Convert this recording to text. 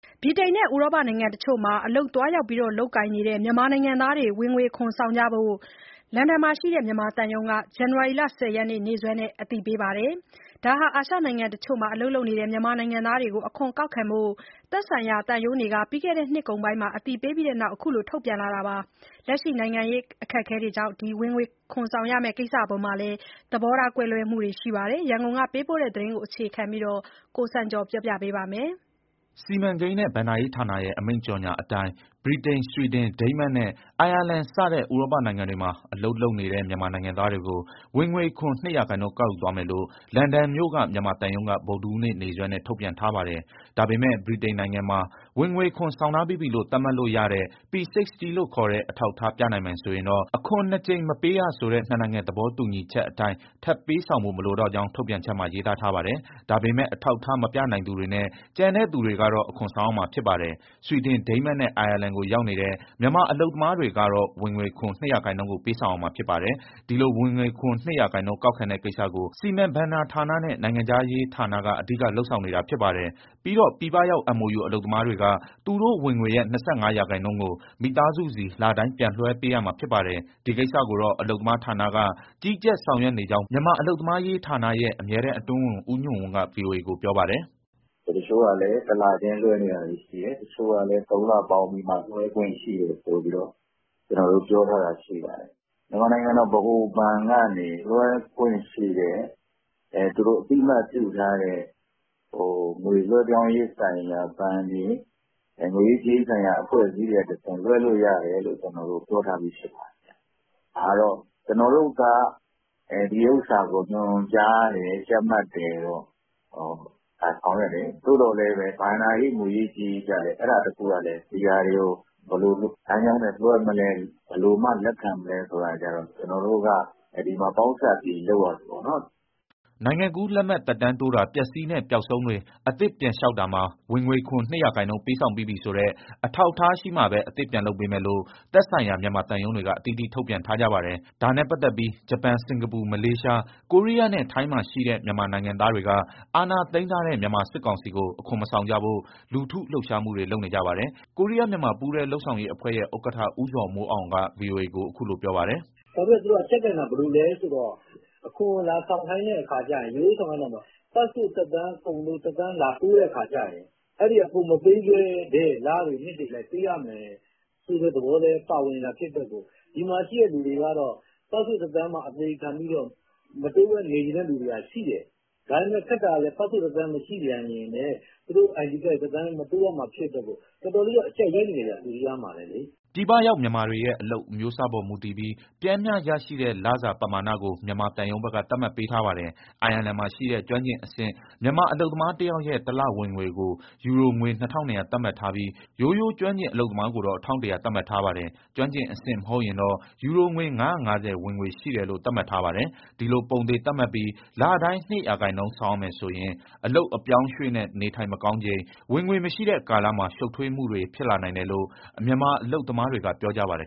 ဗြိတိန်နဲ့ ဥရောပနိုင်ငံတချို့မှာ အလုပ်သွားရောက် လုပ်ကိုင်နေတဲ့ မြန်မာနိုင်ငံသားတွေကို ဝင်ငွေခွန်ဆောင်ဖို့အတွက် အင်္ဂလန်မှာရှိတဲ့ မြန်မာသံရုံးက ဇန်နဝါရီလ ၁၀ရက်နေ့စွဲနဲ့ အသိပေးထားပါတယ်။ ဒါဟာ အာရှနိုင်ငံတချို့မှာ အလုပ်လုပ်နေကြတဲ့ မြန်မာနိုင်ငံသားတွေကို အခွန်ကောက်ခံဖို့ သက်ဆိုင်ရာ သံရုံးတွေက ပြီးခဲ့တဲ့ နှစ်ကုန်ပိုင်းမှာ အသိပေးပြီးတဲ့နောက် အခုလို ထုတ်ပြန်လာခဲ့တာပါ။ လက်ရှိနိုင်ငံရေး ပြဿနာတွေကြောင့် ဝင်ငွေခွန်ဆောင်ရမဲ့ ကိစ္စအပေါ်မှာ သဘောထား ကွဲလွဲမှုတွေ အများအပြား ရှိနေကြပါတယ်။ ရန်ကုန်ကပေးပို့တဲ့ ဒီသတင်းကို အခြေခံပြီး ကိုစံကျော်က ပြောပြမှာပါ။ စီမံကိန်းနဲ့ ဘဏ္ဍာရေးဌာနရဲ့ အမိန့်ကြေညာချက်အတိုင်း ဗြိတိန်၊ ဆွီဒင်၊ ဒိန်းမတ်နဲ့ အိုင်ယာလန် စတဲ့ ဥရောပနိုင်ငံတွေမှာ အလုပ်လုပ်နေတဲ့ မြန်မာနိုင်ငံသားတွေကို ဝင်ငွေခွန် ၂ရာခိုင်နှုန်း ကောက်ယူသွားမယ်လို့ လန်ဒန်မြို့ မြန်မာသံရုံးက ဗုဒ္ဓဟူးနေ့ နေ့စွဲနဲ့ ထုတ်ပြန်ထားပါတယ်။ ဒါပေမဲ့ ဗြိတိန်နိုင်ငံမှာ ဝင်ငွေခွန် ဆောင်ထားပြီးပြီလို့ သတ်မှတ်လို့ရတဲ့ P60 လို့ခေါ်တဲ့ အထောက်အထား ပြနိုင်မယ်ဆိုရင်တော့ အခွန်နှစ်ကြိမ် မပေးရဆိုတဲ့ နှစ်နိုင်ငံ သဘောတူညီချက်အတိုင်း ထပ်ပေးဆောင်ဖို့ မလိုကြောင်း ထုတ်ပြန်ချက်မှာ ရေးသားထားပါတယ်။ ဒါပေမဲ့ အထောက်အထား မပြနိုင်သူတွေနဲ့ ကျန်တဲ့သူတွေကတော့ အခွန်ဆောင်ရမှာ ဖြစ်ပါတယ်။ ဆွီဒင်၊ ဒိန်းမတ်နဲ့ အိုင်ယာလန်ကို ရောက်နေတဲ့ မြန်မာအလုပ်သမားတွေကတော့ ဝင်ငွေခွန် ၂ရာခိုင်နှုန်းကို ပေးဆောင်ရမှာ ဖြစ်ပါတယ်။ ဒီလို ဝင်ငွေခွန် ၂ရာခိုင်နှုန်း ကောက်ခံတဲ့ကိစ္စကို စီမံဘဏ္ဍာဌာနနဲ့ နိုင်ငံခြားရေးဌာနက အဓိက လုပ်ဆောင်နေတာ ဖြစ်ပါတယ်။ ပြီးတော့ ပြည်ပရောက် MoU အလုပ်သမားတွေက သူတို့ဝင်ငွေရဲ့ ၂၅ရာခိုင်နှုန်းကို မိသားစုဆီ လတိုင်း ပြန်လွှဲပေးရမှာ ဖြစ်ပါတယ်။ ဒီကိစ္စကိုတော့ အလုပ်သမားဌာနက ကြီးကြပ်၊ ဆောင်ရွက်နေကြောင်း မြန်မာအလုပ်သမားရေးဌာနရဲ့ အမြဲတမ်းအတွင်းဝန် ဦးညွှန့်ဝင်းက ဗွီအိုအေကို ပြောပါတယ်။ "တချို့ကလည်း တလချင်းလွှဲနေတာတွေ ရှိတယ်၊ တချို့ကလည်း သုံးလပေါင်းပြီးမှ လွှဲခွင့်ရှိတယ်ဆိုပြီးမှ ကျနော်တို့ပြောထားတာ ရှိပါတယ်။ မြန်မာနိုင်ငံ ဗဟိုဘဏ်ကနေ လွှဲခွင့်ပြုတဲ့ သူတို့အသိအမှတ်ပြုထားတဲ့ ငွေလွှဲပြောင်းရေးဆိုင်ရာ ဘဏ်တွေ၊ ငွေရေးကြေးရေးဆိုင်ရာ အဖွဲ့အစည်းတွေကတဆင့် လွှဲလို့ရတယ်လို့ ကျနော်တို့ ပြောထားပြီး ဖြစ်ပါတယ်။ ဒါကတော့ ကျနော်တို့က ဒီဥစ္စာကို ညွှန်ကြားတယ်၊ ကြပ်မတ်တယ်၊ ဆောင်ရွက်တယ်။ သို့သော်လည်း ဘဏ္ဍာရေး၊ ငွေရေး ကြေးရေးကျလည်း အဲဒါတခုကလည်း ဘယ်လိုလမ်းကြောင်းနဲ့ လွှဲမလဲ၊ ဘယ်လိုမှ လက်ခံမလဲဆိုတာ ဒီမှာကျနော်တို့က ပေါင်းစပ်ပြီး လုပ်ရတာပေါ့နော်။" နိုင်ငံကူးလက်မှတ် သက်တမ်းတိုးတာ၊ ပျက်စီးနဲ့ ပျောက်ဆုံးတွေ အသစ်ပြန်လျှောက်တာမှာ ဝင်ငွေခွန် ၂ရာခိုင်နှုန်း ပေးဆောင်ပြီးပြီဆိုတဲ့ အထောက်အထားရှိမှာပဲ အသစ်ပြန်လုပ်ပေးမယ်လို့ သက်ဆိုင်ရာ မြန်မာသံရုံးတွေက အသီးသီး ထုတ်ပြန်ထားကြပါတယ်။ ဒါနဲ့ပတ်သက်ပြီး ဂျပန်၊ စင်္ကာပူ၊ မလေးရှား၊ ကိုရီးယားနဲ့ ထိုင်းမှာ ရှိတဲ့ မြန်မာနိုင်ငံသားတွေက အာဏာသိမ်းထားတဲ့ မြန်မာစစ်ကောင်စီကို အခွန်မဆောင်ကြဖို့ လူထုလှုပ်ရှားမှုတွေ လုပ်နေကြပါတယ်။ ကိုရီးယားမြန်မာ ပူးတွဲလုပ်ဆောင်ရေးအဖွဲ့ရဲ့ ဥက္ကဋ္ဌ ဦးဇော်မိုးအောင် က ဗွီအိုအေကို အခုလို ပြောပါတယ်။ " သူတို့က အကျပ်ကိုင်တာ။ ဘယ်လိုလဲဆိုတော့ အခွန်ကို လာဆောင်ခိုင်းတဲ့အခါကြရင် ရိုးရိုးဆောင်ခိုင်းတာမဟုတ်ဘူး၊ ပတ်စ်ပို့ သက်တမ်းကုန်လို့ လာတိုးတဲ့အခါကြရင် ကိုယ်မပေးခဲ့တဲ့ လတွေ၊ နှစ်တွေအလိုက် ပေးရမယ်ဆိုတဲ့ သဘောလည်း ပါဝင်တာဖြစ်တဲ့အတွက် ဒီမှာရှိတဲ့သူတွေကတော့ ပတ်စ်ပို့သက်တမ်း အသေခံပြီးတော့ မတိုးဘဲနေချင်တဲ့သူတွေက ရှိတယ်။ ဒါပေမဲ့ ခက်တာက ပတ်စ်ပို့သက်တမ်း မရှိပြန်ရင်လည်း သူတို့ (အလုပ်သမား) ID ကတ်တွေ မတိုးရမှာဖြစ်တဲ့အတွက် တော်တော်လေး အကျပ်ရိုက်နေတယ်ဗျ၊ ကိုရီးယားမှာလည်းလေ။" ပြည်ပရောက် မြန်မာတွေရဲ့ အလုပ်အမျိုးအစားအပေါ် မူတည်ပြီး ပျမ်းမျှရနိုင်တဲ့ လစာပမာဏကို မြန်မာသံရုံးဘက်က သတ်မှတ် ပေးထားပါတယ်။ အိုင်ယာလန်မှာရှိတဲ့ ကျွမ်းကျင်အဆင့်မြင့် မြန်မာအလုပ်သမားတယောက်ရဲ့ တလဝင်ငွေကို ယူရိုငွေ ၂,၂၀၀ သတ်မှတ်ထားပြီး၊ ရိုးရိုးကျွမ်းကျင် အလုပ်သမားကိုတော့ ၁,၁၀၀ သတ်မှတ်ထားပါတယ်။ ကျွမ်းကျင်အဆင့် မဟုတ်ရင်တော့ ယူရိုငွေ ၅၅၀ ဝင်ငွေရှိတယ်လို့ သတ်မှတ်ထားပါတယ်။ ဒီလို ပုံသေသတ်မှတ်ပြီး လတိုင်း ၂ရာခိုင်နှုန်း ဆောင်ရမယ်ဆိုရင် အလုပ်အပြောင်းအရွှေ့နဲ့ နေထိုင်မကောင်းချိန် ဝင်ငွေမရှိတဲ့ကာလမှာ ရှုပ်ထွေးမှုတွေ ဖြစ်လာနိုင်တယ်လို့ မြန်မာအလုပ်သမားတွေက ပြောကြပါတယ်